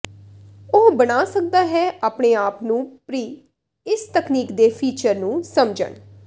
ਉਹ ਬਣਾ ਸਕਦਾ ਹੈ ਆਪਣੇ ਆਪ ਨੂੰ ਪ੍ਰੀ ਇਸ ਤਕਨੀਕ ਦੇ ਫੀਚਰ ਨੂੰ ਸਮਝਣ